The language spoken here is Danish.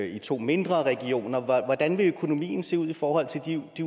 i to mindre regioner hvordan vil økonomien se ud i forhold til de